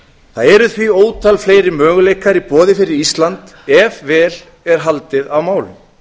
það eru því ótal fleiri möguleikar í boði fyrir ísland ef vel er haldið á málum